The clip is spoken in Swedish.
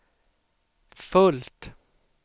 fullt